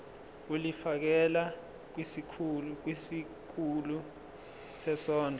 ulifiakela kwisikulu sezondlo